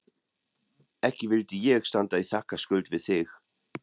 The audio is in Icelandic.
Ekki vildi ég standa í þakkarskuld við þig